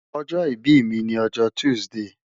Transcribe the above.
ojo ibi mi ni ojo tuside